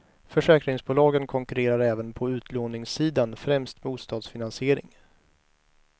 Försäkringsbolagen konkurrerar även på utlåningssidan, främst bostadsfinansiering.